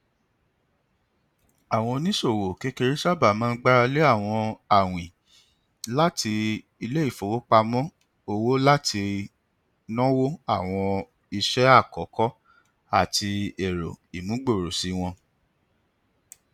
àwọn oníṣòwò kékeré sábà máa gbaralé àwọn awin láti iléifowopamọ òwò láti nónwo àwọn iṣẹ àkọkọ àti èrò ìmúgbòròṣí wọn